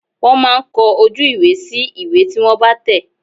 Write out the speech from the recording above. Wọ́n máa ń kọ ojú ìwé sí ìwé tí wọ́n bá tẹ̀.